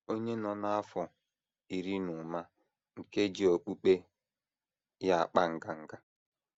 Onye Nọ N’afọ Iri Na Ụma Nke Ji Okpukpe Ya Akpa Nganga